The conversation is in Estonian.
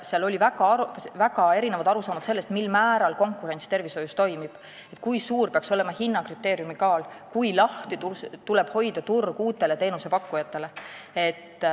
Seal oli väga erinevaid arusaamu selle kohta, mil määral toimib konkurents tervishoius, kui suur peaks olema hinnakriteeriumi kaal ja kui lahti tuleb turgu hoida uutele teenusepakkujatele.